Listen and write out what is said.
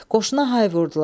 Qoşuna hay vurdular.